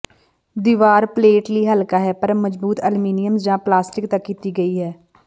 ਦੀਵਾਰ ਪਲੇਟ ਲਈ ਹਲਕਾ ਹੈ ਪਰ ਮਜ਼ਬੂਤ ਅਲਮੀਨੀਅਮ ਜ ਪਲਾਸਟਿਕ ਤੱਕ ਕੀਤੀ ਗਈ ਹੈ